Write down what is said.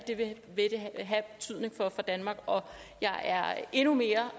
vil have af betydning for danmark og jeg er endnu mere